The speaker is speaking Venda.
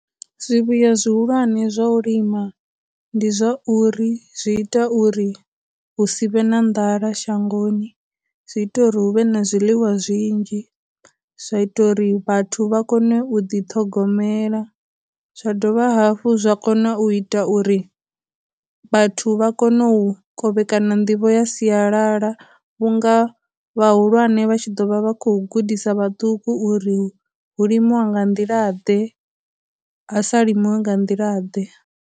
Zwivhuya zwihulwane zwa u lima ndi zwa uri zwi ita uri hu si vhe na nḓala shangoni, zwi ita uri hu vhe na zwiḽiwa zwinzhi, zwa ita uri vhathu vha kone u ḓi ṱhogomela, zwa dovha hafhu zwa kona u ita uri vhathu vha kone u kovhekana nḓivho ya sialala vhunga vhahulwane vha tshi ḓo vha vha khou gudisa vhaṱuku uri hu limiwa nga nḓila ḓe, ha sa limiwi nga nḓila ḓe.